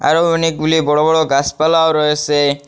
অনেকগুলি বড় বড় গাছপালাও রয়েছে।